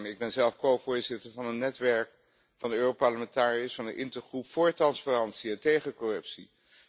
Ik ben zelf covoorzitter van een netwerk van de Europarlementariërs van de Intergroep voor transparantie en tegen corruptie.